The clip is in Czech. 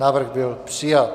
Návrh byl přijat.